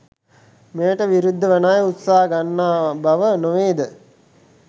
මෙයට විරුද්ධවන අය උත්සාහ ගන්නා බව නොවේද?